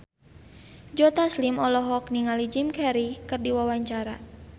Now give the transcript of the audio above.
Joe Taslim olohok ningali Jim Carey keur diwawancara